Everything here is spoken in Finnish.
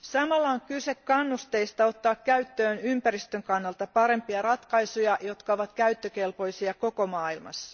Samalla on kyse kannusteista ottaa käyttöön ympäristön kannalta parempia ratkaisuja, jotka ovat käyttökelpoisia koko maailmassa.